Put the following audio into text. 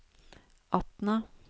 Atna